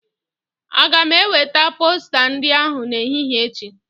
Aga m enwete posta ndị ahụ n'ehihi echi?